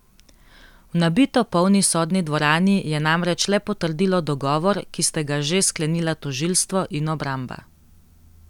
V nabito polni sodni dvorani je namreč le potrdilo dogovor, ki sta ga že sklenila tožilstvo in obramba.